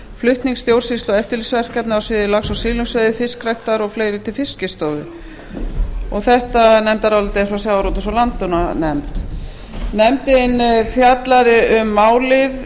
flutnings þjóðsýslu og eftirlitsverkefna á sviði lax og silungsveiði fiskræktar og fleiri til fiskistofu þetta nefndarálit er frá sjávarútvegs og landbúnaðarnefnd nefndin fjallaði um málið